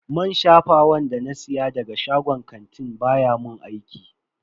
Man shafawan da na siya daga shagon kantin baya mun aiki.